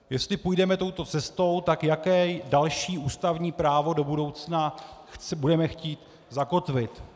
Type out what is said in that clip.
Jestli půjdeme touto cestou, tak jaké další ústavní právo do budoucna budeme chtít zakotvit?